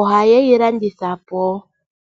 ohaye yi landitha po.